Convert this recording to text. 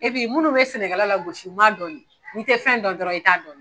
Epi munnu bɛ sɛnɛ kɛla lagosi u man dɔn ne n'i tɛ fɛn dɔn dɔrɔn i t'a dɔn.